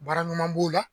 Baara ɲuman b'o la